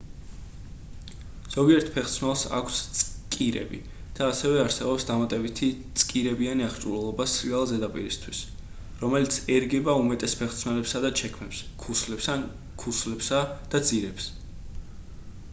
ზოგიერთ ფეხსაცმელს აქვს წკირები და ასევე არსებობს დამატებითი წკირებიანი აღჭურვილობა სრიალა ზედაპირისთვის რომელიც ერგება უმეტეს ფეხსაცმელებსა და ჩექმებს ქუსლებს ან ქუსლებსა და ძირებს